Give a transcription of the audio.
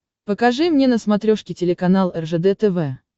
покажи мне на смотрешке телеканал ржд тв